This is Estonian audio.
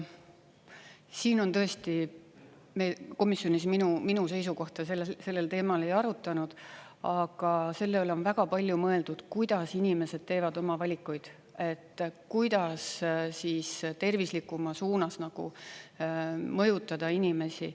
Siin on tõesti, me komisjonis minu seisukohta sellel teemal ei arutanud, aga selle üle on väga palju mõeldud, kuidas inimesed teevad oma valikuid, kuidas tervislikuma suunas mõjutada inimesi.